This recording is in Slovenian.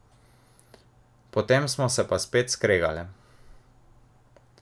Potem smo se pa spet skregale!